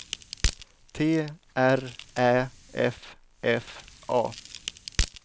T R Ä F F A